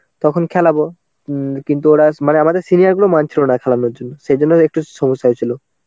তখন খেলাবো. উম কিন্তু ওরা মানে আমাদের senior গুলো মানছিলো না খেলানোর জন্য. সেই জন্য একটু সমস্যা হয়েছিল.